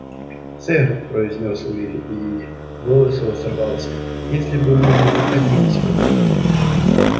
сэр произнёс уилли и голос его сорвался если бы мы не находились в этом доме